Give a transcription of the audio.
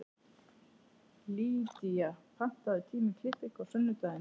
Lýdía, pantaðu tíma í klippingu á sunnudaginn.